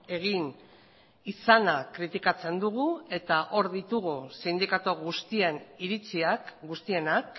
egin izana kritikatzen dugu eta hor ditugu sindikatu guztien iritziak guztienak